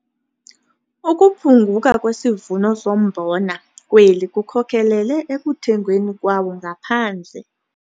Ukuphunguka kwesivuno sombona kweli kukhokelele ekuthengweni kwawo ngaphandle.